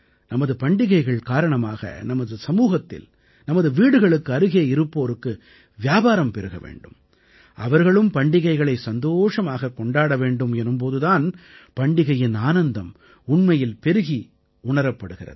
நமது பண்டிகைகள் காரணமாக நமது சமூகத்தில் நமது வீடுகளுக்கு அருகே இருப்போருக்கு வியாபாரம் பெருக வேண்டும் அவர்களும் பண்டிகைகளை சந்தோஷமாகக் கொண்டாட வேண்டும் எனும் போது தான் பண்டிகையின் ஆனந்தம் உண்மையில் பெருகி உணரப்படுகிறது